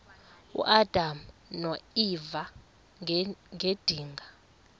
uadam noeva ngedinga